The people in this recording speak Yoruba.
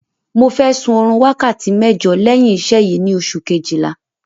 Mo fẹ́ sun oorun wákàtí mẹ́jọ lẹ́yìn iṣẹ́ yìí ni oṣù kejìlá